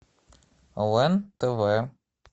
лен тв